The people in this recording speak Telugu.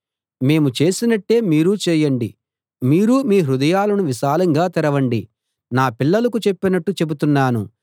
మేము చేసినట్టే మీరూ చేయండి మీరూ మీ హృదయాలను విశాలంగా తెరవండి నా పిల్లలకు చెప్పినట్టు చెబుతున్నాను